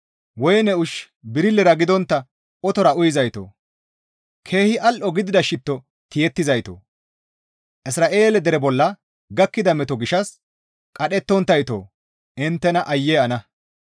Woyne ushshu birillera gidontta otora uyizaytoo! Keehi al7o gidida shitto tiyettizaytoo! Isra7eele deraa bolla gakkida meto gishshas qadhettonttayto inttena aayye ana!